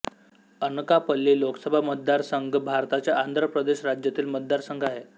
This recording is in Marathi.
अनकापल्ली लोकसभा मतदारसंघ भारताच्या आंध्र प्रदेश राज्यातील मतदारसंघ आहे